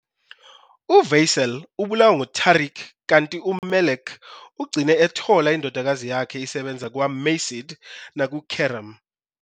UVeysel ubulawa nguTarik kanti uMelek ugcine ethola indodakazi yakhe isebenza kwaMacide nakuKerem.